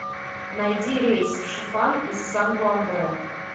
найди рейс в шифан из санту андре